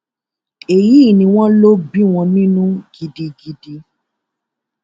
èyí ni wọn lọ bí wọn nínú gidigidi